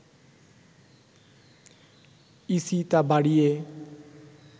EC তা বাড়িয়ে